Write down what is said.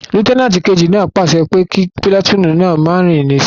Lútẹ́nàtì kejì náà pàṣẹ pé kí pìlàtúùnù náà máa rìn ní sò